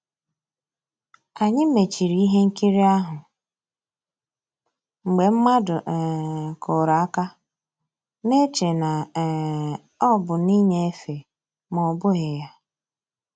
Ànyị́ mèchìrì ihe nkírí ahụ́ mgbe mmadụ́ um kùrù àka, na-èchè na um ọ́ bụ́ nnìnyéfè mà ọ́ bụ́ghi ya.